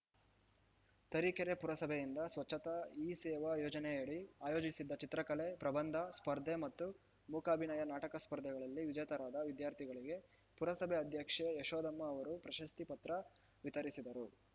ತರೀಕೆರೆ ಪುರಸಭೆಯಿಂದ ಸ್ವಚ್ಚತಾ ಹಿ ಸೇವಾ ಯೋಜನೆಯಡಿ ಆಯೋಜಿಸಿದ್ದ ಚಿತ್ರಕಲೆ ಪ್ರಬಂಧ ಸ್ಪರ್ಧೆ ಮತ್ತು ಮೂಕಾಭಿನಯ ನಾಟಕ ಸ್ಪರ್ಧೆಗಳಲ್ಲಿ ವಿಜೇತರಾದ ವಿದ್ಯಾರ್ಥಿಗಳಿಗೆ ಪುರಸಭೆ ಅಧ್ಯಕ್ಷೆ ಯಶೋದಮ್ಮ ಅವರು ಪ್ರಶಸ್ತಿ ಪತ್ರ ವಿತರಿಸಿದರು